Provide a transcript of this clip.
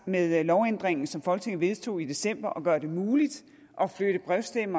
med lovændringen som folketinget vedtog i december om at gøre det muligt at brevstemme